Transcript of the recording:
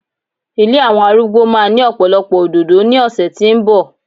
ilé àwọn arúgbó ma ni ọpọlọpọ òdòdó ni ọsẹ ti nbọ